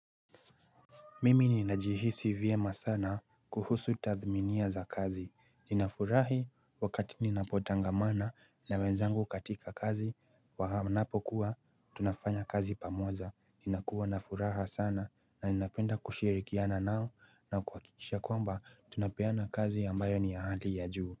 Mimi ninajihisi vyema sana kuhusu tathminia za kazi, ninafurahi wakati ninapotangamana na wenzangu katika kazi wanapokuwa, tunafanya kazi pamoja, ninakuwa nafuraha sana na ninapenda kushirikiana nao na kuhakikisha kwamba tunapeana kazi ambayo ni ya hali ya juu.